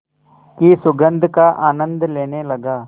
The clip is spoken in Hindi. की सुगंध का आनंद लेने लगा